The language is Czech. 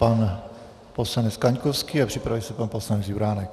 Pan poslanec Kaňkovský a připraví se pan poslanec Juránek.